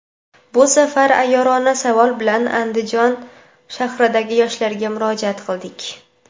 Bu safar ayyorona savol bilan Andijon shahridagi yoshlarga murojaat qildik.